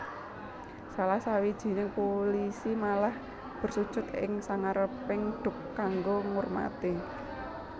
Salah sawijining pulisi malah bersujud ing sangareping Duc kanggo ngurmati